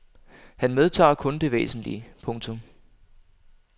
Han medtager kun det væsentlige. punktum